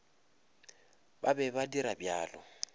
ba be ba dira bjalo